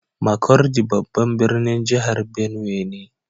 Markudi babban birnin jihar benue ne